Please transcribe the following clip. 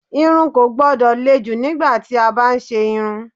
Irun kò gbọ́dọ̀ le jù nígbà tí a bá ń ṣe irun.